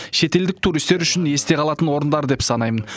шетелдік туристер үшін есте қалатын орындар деп санаймын